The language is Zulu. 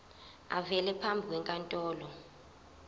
avele phambi kwenkantolo